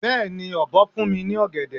Beeni obo fun mi ni ogede